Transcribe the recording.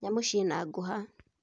Nyamũ ciena ngũha